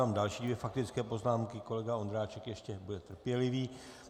Mám další dvě faktické poznámky, kolega Ondráček ještě bude trpělivý.